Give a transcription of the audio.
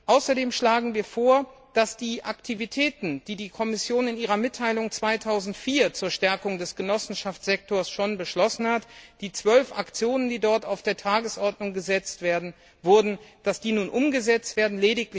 Außerdem schlagen wir vor, dass die Aktivitäten, die die Kommission in ihrer Mitteilung 2004 zur Stärkung des Genossenschaftssektors schon beschlossen hat, das heißt die zwölf Aktionen, die dort auf die Tagesordnung gesetzt wurden, nun umgesetzt werden.